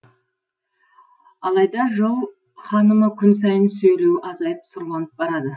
алайда жыл ханымы күн сайын сөйлеуі азайып сұрланып барады